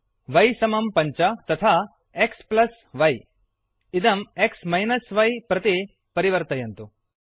y5 वै समं पञ्च तथा xy एक्स् संयोगः वैइदं x य एक्स् वियोगः वै प्रति परिवर्तयन्तु